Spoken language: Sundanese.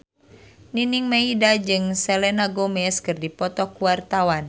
Nining Meida jeung Selena Gomez keur dipoto ku wartawan